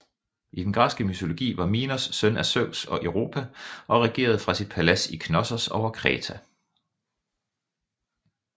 I den græske mytologi var Minos søn af Zeus og Europa og regerede fra sit palads i Knossos over Kreta